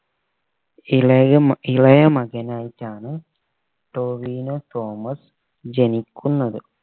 ഇളയ മ ഇളയ മകനായിട്ടാണ് ടോവിനോ തോമസ് ജനിക്കുന്നത്